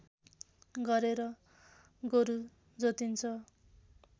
गरेर गोरु जोतिन्छ